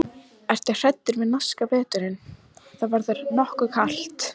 Ertu hræddur við norska veturinn, það verður nokkuð kalt?